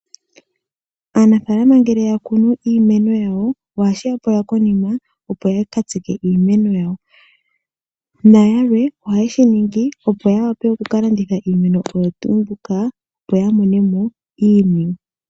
Aanafaalama ngele ya kunu iimeno yawo, ohashi ya pula konima, opo ya ka tsike iimeno yawo, nayalwe ohaye shi ningi opo ya wape oku ka landitha iimeno oyo tuu mbika, opo ya mone mo iiniwe.